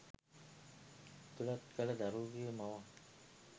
ඇතුළත් කළ දරුවෙකුගේ මවක්